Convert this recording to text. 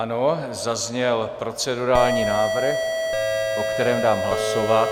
Ano, zazněl procedurální návrh, o kterém dám hlasovat.